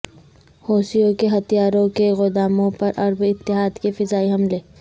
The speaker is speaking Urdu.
حوثیوں کے ہتھیاروں کے گوداموں پر عرب اتحاد کے فضائی حملے